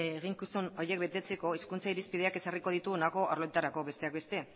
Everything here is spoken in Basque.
eginkizun horiek betetzeko hezkuntza irizpideak ezarriko ditu honako arloetarako besteak beste